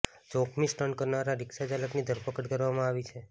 જોખમી સ્ટંટ કરનારા રિક્ષાચાલકની ધરપકડ કરવામાં આવી છે